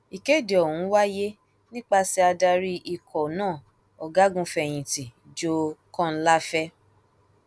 ìkéde ọhún wáyé nípasẹ adarí ikọ náà ọgágunfẹyìntì joe kọńláfẹ